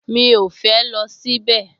Mi ò fẹ́ lọ síbẹ̀